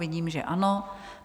Vidím, že ano.